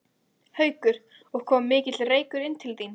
Haukur: Og kom mikill reykur inn til þín?